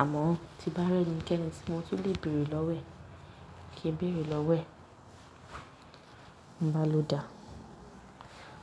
àmọ́ ó ti bá rẹ́ni kẹ́ni tí mo tún lè bèrè lọ́wọ́ ẹ̀ kí n bèrè lọ́wọ́ ẹ̀. Mo bá ló dá,